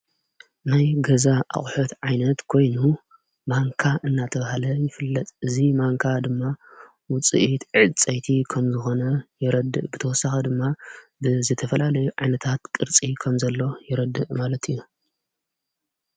ናይ ገዛ ኣቝሐት ዓይነት ጐይኑ ማንካ እናተብሃለ ይፍለጽ እዙይ ማንካ ድማ ውፅአት ዕድ ጸይቲ ኸም ዝኾነ የረድእ ብተወሳኽ ድማ ብዘተፈላለዩ ዓይነታት ቅርፂ ከም ዘሎ የረድእ ማለት እዩ።